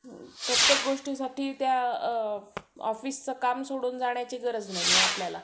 प्रत्येक गोष्टीसाठी त्या अ office चं काम सोडून जाण्याची गरज नाहीये आपल्याला.